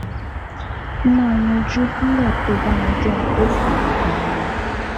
Ó máa yanjú nígbà tó o bá yanjú ohun tó fà á gan-an